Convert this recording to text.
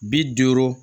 Bi duuru